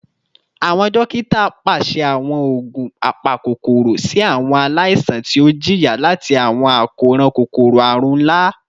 Awọn dokita paṣẹ awọn oogun apakokoro si awọn alaisan ti o jiya lati awọn akoran kokoro-arun nla